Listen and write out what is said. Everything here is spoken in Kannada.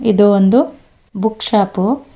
ಒದು ಒಂದು ಬುಕ್ ಶಾಪು .